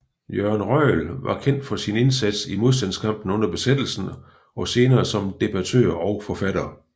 Jørgen Røjel blev kendt for sin indsats i modstandskampen under besættelsen og senere som debattør og forfatter